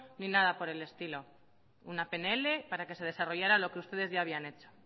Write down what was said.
ni nada por el estilo una pnl para que se desarrollará lo que ustedes ya habían hecho